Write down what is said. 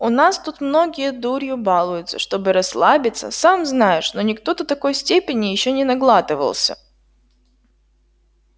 у нас тут многие дурью балуются чтобы расслабиться сам знаешь но никто до такой степени ещё не наглатывался